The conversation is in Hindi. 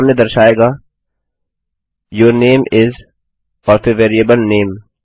यह सामने दर्शाएगा यूर नामे इस और फिर वेरिएबल नामे